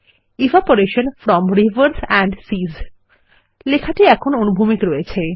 evaporation from rivers and seas text এখন অনুভূমিক রয়েছে